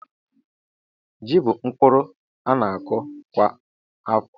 Ji bú mkpụrụ a na-akọ kwa afọ